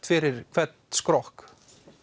fyrir hvern skrokk